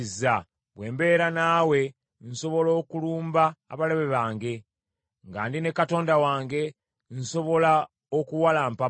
Bwe mbeera naawe nsobola okulumba abalabe bange; nga ndi ne Katonda wange nsobola okuwalampa bbugwe.